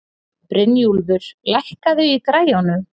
Brynjúlfur, lækkaðu í græjunum.